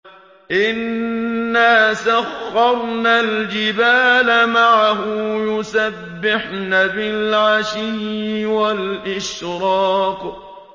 إِنَّا سَخَّرْنَا الْجِبَالَ مَعَهُ يُسَبِّحْنَ بِالْعَشِيِّ وَالْإِشْرَاقِ